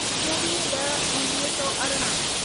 चोवीह ॾह उणिवीह सौ अरिड़हं